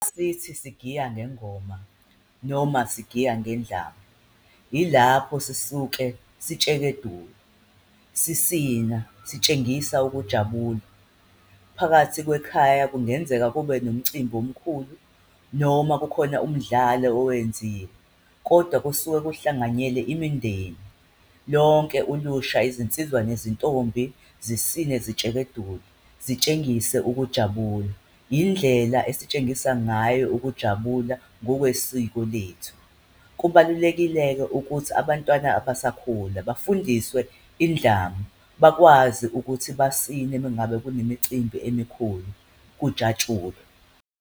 Sithi sigiya ngengoma noma sigiya ngendlamu, yilapho sisuke sitshegedula sisina, sitshengisa ukujabula. Phakathi kwekhaya kungenzeka kube nomcimbi omkhulu noma kukhona umdlalo owenziwe kodwa kusuke kuhlanganyele imindeni. Lonke ulusha, izinsizwa nezintombi zisine zitshekedule zitshengise ukujabula, indlela esitshengisa ngayo ukujabula ngokwesiko lethu. Kubalulekile-ke ukuthi abantwana abasakhula bafundiswe indlamu, bakwazi ukuthi basine mengabe kunemicimbi emikhulu kujatshulwe.